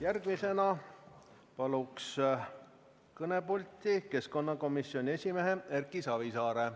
Järgmisena palun kõnepulti keskkonnakomisjoni esimehe Erki Savisaare.